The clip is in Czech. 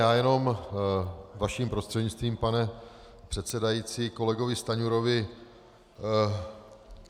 Já jenom vaším prostřednictvím, pane předsedající, kolegovi Stanjurovi.